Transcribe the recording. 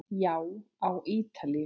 Já, á Ítalíu.